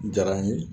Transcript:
Diyara n ye